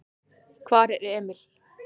Hvar er Emil?